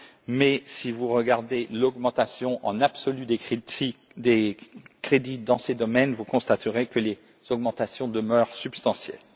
Mais, si vous regardez l'augmentation en valeur absolue des crédits dans ces domaines, vous constaterez que les augmentations demeurent substantielles.